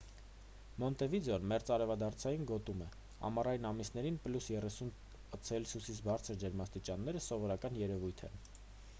մոնտեվիդեոն մերձարևադարձային գոտում է. ամառային ամիսներին +30 c-ից բարձր ջերմաստիճանները սովորական երևույթ են: